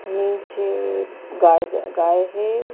नीचे गाएज गाय है।